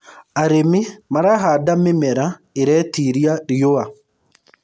arĩmi marahanda mĩmera iretĩĩria riũa